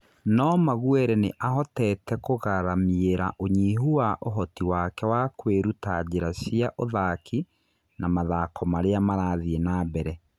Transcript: No Maguere nĩ ahoteete kũgaramiĩra ũnyihu wa ũhoti wake na kũĩruta njĩra cia ũthaki na mathako marĩa marathĩĩ nambere.